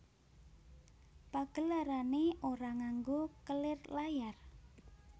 Pagelarane ora nganggo kelir layar